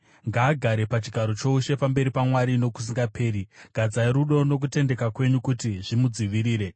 Ngaagare pachigaro choushe pamberi paMwari nokusingaperi; gadzai rudo nokutendeka kwenyu kuti zvimudzivirire.